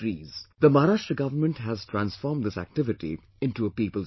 The Maharashtra government has transformed this activity into a people's movement